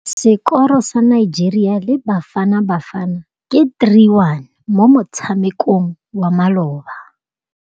Sekôrô sa Nigeria le Bafanabafana ke 3-1 mo motshamekong wa malôba.